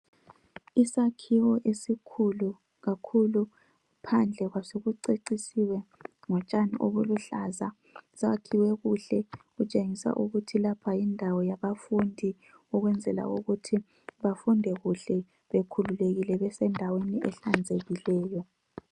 Isakhiwo esikhulu kakhulu, phandle kwaso kucecisiwe ngotshani obuluhlaza. Sakhiwe kuhle kutshengisa ukuthi lapha yindawo yabafundi, ukwenzela ukuthi bafunde kuhle, bekhululekile besendaweni ehlanzekileyo